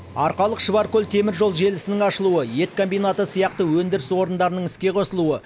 арқалық шұбаркөл теміржол желісінің ашылуы ет комбинаты сияқты өндіріс орындарының іске қосылуы